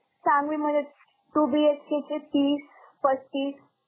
सांगवीमध्येच two BHK चे तीस पस्तीस